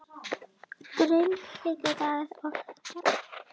GRÍMUR: Digur og ráðríkur